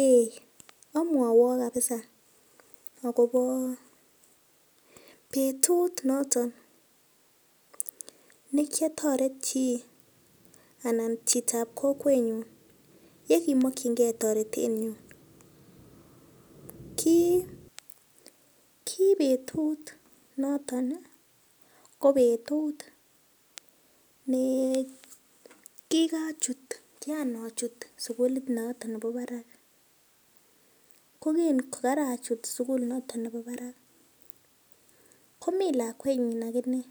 Ei omwowok kabisa akobo betut noton nekiotoret chii anan chitab kokwenyun yekimokyingen toretet neo, ki betut noton ii ko betut kianachut sugulit noton bo barak, ko kin kogorochut sugul noton nebo barak komi lakwenyin aginee